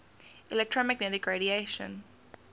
electromagnetic radiation